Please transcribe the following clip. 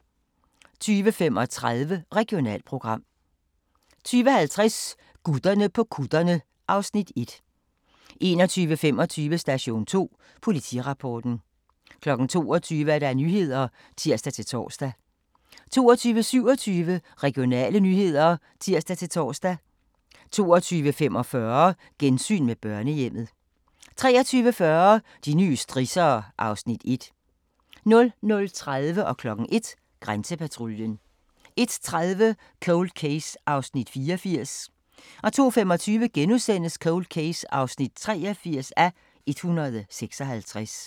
20:50: Gutterne på kutterne (Afs. 1) 21:25: Station 2: Politirapporten 22:00: Nyhederne (tir-tor) 22:27: Regionale nyheder (tir-tor) 22:45: Gensyn med børnehjemmet 23:40: De nye strissere (Afs. 1) 00:30: Grænsepatruljen 01:00: Grænsepatruljen 01:30: Cold Case (84:156) 02:25: Cold Case (83:156)*